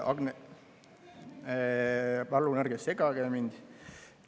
Palun ärge segage mind!